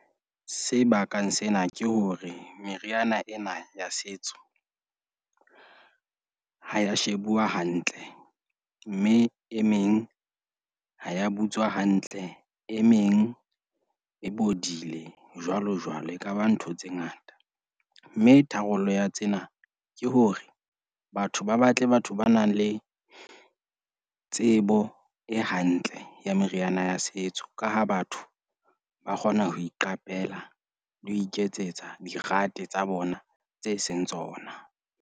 Se bakang sena ke hore meriana ena ya setso ha ya shebuwa hantle. Mme e meng ha ya butswa hantle, e meng e bodile, jwalo jwalo. Ekaba ntho tse ngata, mme tharollo ya tsena ke hore batho ba batle batho ba nang le tsebo e hantle ya meriana ya setso. Ka ha batho ba kgona ho iqapela le ho iketsetsa dirate tsa bona tse seng tsona.